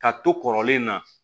Ka to kɔrɔlen na